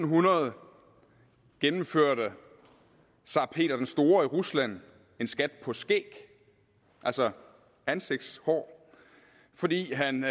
hundrede gennemførte tsar peter den store i rusland en skat på skæg altså ansigtshår fordi han